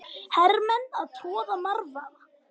Hermenn að troða marvaða.